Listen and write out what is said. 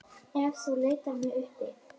Ef þú leitar mig uppi.